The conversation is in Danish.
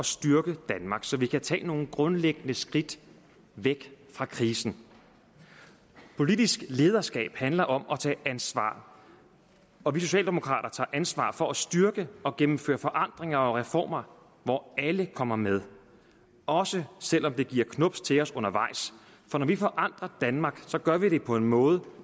styrke danmark så vi kan tage nogle grundlæggende skridt væk fra krisen politisk lederskab handler om at tage ansvar og vi socialdemokrater tager ansvar for at styrke og gennemføre forandringer og reformer hvor alle kommer med også selv om det giver knubs til os undervejs for når vi forandrer danmark gør vi det på en måde